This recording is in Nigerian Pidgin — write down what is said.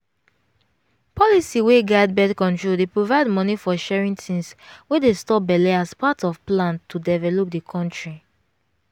policy wey guide birth-control dey provide money for sharing things wey dey stop belle as part of plan to develop di country.